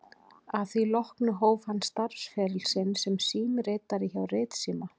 Að því loknu hóf hann starfsferil sinn sem símritari hjá Ritsíma